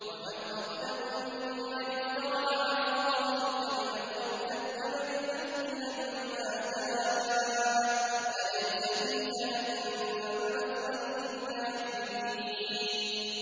وَمَنْ أَظْلَمُ مِمَّنِ افْتَرَىٰ عَلَى اللَّهِ كَذِبًا أَوْ كَذَّبَ بِالْحَقِّ لَمَّا جَاءَهُ ۚ أَلَيْسَ فِي جَهَنَّمَ مَثْوًى لِّلْكَافِرِينَ